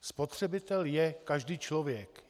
Spotřebitel je každý člověk.